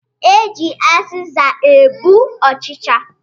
E ji azịza egbu ọ̣chịchị